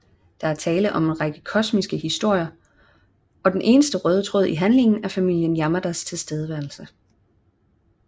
Der er tale om en række komiske historier og den eneste røde tråd i handlingen er familien Yamadas tilstedeværelse